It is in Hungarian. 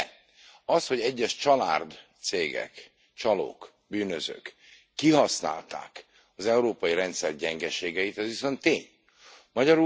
De, az hogy egyes csalárd cégek, csalók, bűnözők kihasználták az európai rendszer gyengeségeit, az viszont tény.